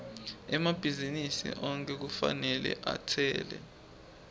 emabhizinisi onkhe kufanele atsele